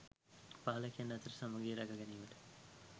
පාලකයන් අතර සමඟිය රැක ගැනීමට